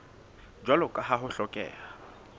jwalo ka ha ho hlokeha